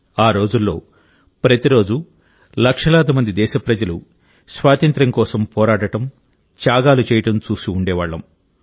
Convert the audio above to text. ఆ రోజుల్లో ప్రతిరోజూ లక్షలాది మంది దేశప్రజలు స్వాతంత్ర్యం కోసం పోరాడడం త్యాగాలు చేయడం చూసి ఉండేవాళ్లం